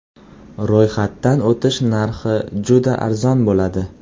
Ro‘yxatdan o‘tish narxi juda arzon bo‘ladi.